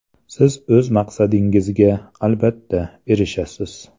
Siz o‘z maqsadingizga, albatta, erishasiz.